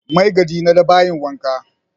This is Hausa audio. Maigadi na da bayin wanka